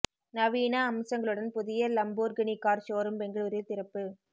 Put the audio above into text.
நவீன அம்சங்களுடன் புதிய லம்போர்கினி கார் ஷோரூம் பெங்களூரில் திறப்பு